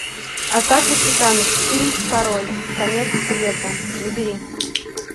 атака титанов фильм второй конец света набери